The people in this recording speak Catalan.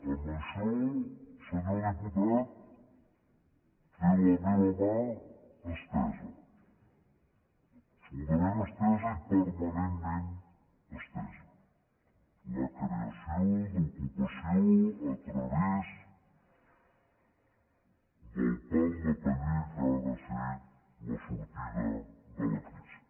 en això senyor diputat té la meva mà estesa absolutament estesa i permanentment estesa la creació d’ocupació a través del pal de paller que ha de ser la sortida de la crisi